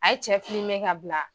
A' ye cɛ filime ka bila.